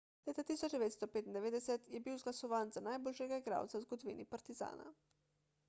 leta 1995 je bil izglasovan za najboljšega igralca v zgodovini partizana